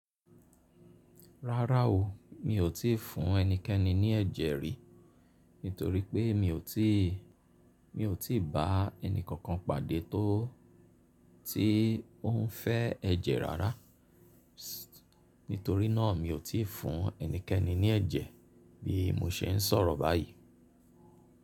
Rárá o, mi ò tí fún ẹnikẹ́ni ní ẹ̀jẹ̀ rí, nítorí pé mi ò tí, mi ò tí bá ẹni kankan pàdé tó tí ó ń fẹ́ ẹ̀jẹ̀ rárá. Nítorí náà, mi ò tí ì fún ẹnikẹ́ni ní ẹ̀jẹ̀ bí mo ṣe ń sọ̀rọ̀ báyìí.